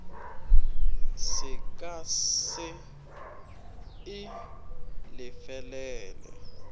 se ka se e lefelele